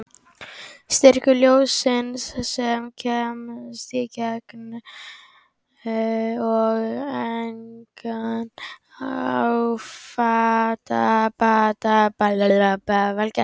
Styrkur ljóssins sem kemst í gegn og endar á fletinum fyrir aftan hefur því minnkað.